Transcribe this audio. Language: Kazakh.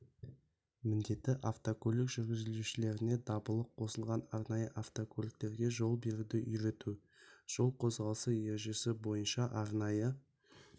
міндеті автокөлік жүргізушілеріне дабылы қосылған арнайы автокөліктерге жол беруді үйрету жол қозғалысы ережесі бойынша арнайы